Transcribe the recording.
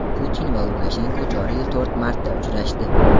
Putin va Lukashenko joriy yil to‘rt marta uchrashdi.